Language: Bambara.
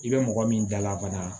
I bɛ mɔgɔ min dala ka